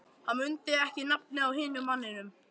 Hann mundi ekki nafnið á hinum manninum.